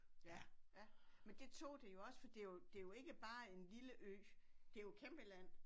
Ja ja men det tog det jo også for det jo det jo ikke bare en lille ø det jo et kæmpe land